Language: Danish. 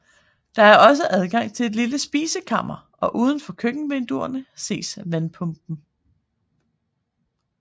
Der er også adgang til et lille spisekammer og udenfor køkkenvinduerne ses vandpumpen